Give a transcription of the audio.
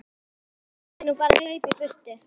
Ég mundi nú bara hlaupa í burtu.